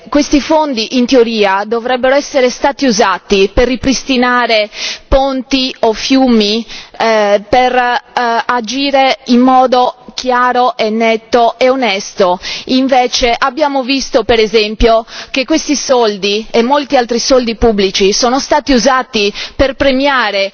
Questi fondi in teoria dovrebbero essere stati usati per ripristinare ponti o fiumi, per agire in modo chiaro e netto e onesto, invece abbiamo visto, per esempio, che questi soldi e molti altri soldi pubblici sono stati usati per premiare